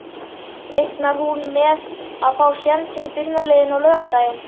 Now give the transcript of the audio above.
Reiknar hún með að fá sénsinn í byrjunarliðinu á laugardaginn?